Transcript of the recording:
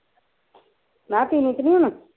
ਮੈਂ ਕਿਹਾਂ ਪੀਣੀ ਤਾਂ ਨੀ ਹੁਣ